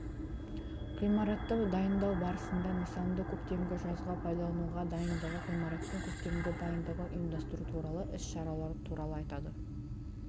ғимаратты дайындау барысында нысанды көктемгі жазғы пайдалануға дайындығы ғимараттың көктемгі дайындығын ұйымдастыру туралы іс-шаралары туралы айтады